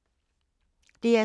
DR2